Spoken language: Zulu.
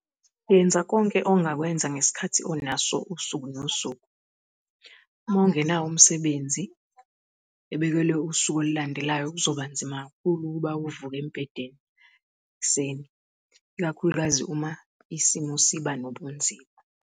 Yenza konke ongakwenza ngesikhathi onaso usuku nosuku. Uma ungenawo umsebenzi ebekelwe usuku olulandelayo kuzoba nzima kakhulu ukuba uvuke embhedeni ekuseni, ikakhulukazi uma isimo siba nobunzima.